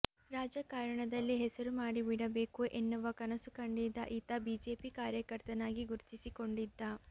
ರಾಜಕಾರಣದಲ್ಲಿ ಹೆಸರು ಮಾಡಿಬಿಡಬೇಕು ಎನ್ನುವ ಕನಸು ಕಂಡಿದ್ದ ಈತ ಬಿಜೆಪಿ ಕಾರ್ಯಕರ್ತನಾಗಿ ಗುರುತಿಸಿಕೊಂಡಿದ್ದ